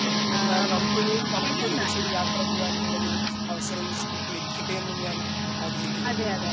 അടുത്ത ഒരുനാൾ നമുക്ക് ഒരു നമുക്കൊരുമിച്ചൊരു യാത്ര പോവാനുള്ളൊരു അവസരം നമുക്ക് ലഭിക്കട്ടെ എന്നും ഞാൻ ആഗ്രഹിക്കുന്നോടുണ്ട്.